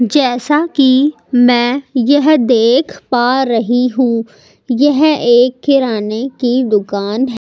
जैसा कि मैं यह देख पा रही हूं यह एक किराने की दुकान--